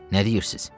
Nə deyirsiniz?